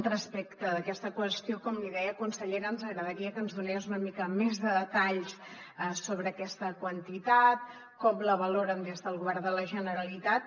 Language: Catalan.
respecte d’aquesta qüestió com li deia consellera ens agradaria que ens donés una mica més de detalls sobre aquesta quantitat com la valoren des del govern de la generalitat